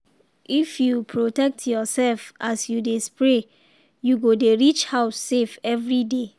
if you protect yourself as you dey spray you go dey reach house safe every day.